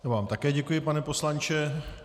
Já vám také děkuji, pane poslanče.